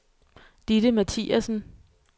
Ditte Mathiassen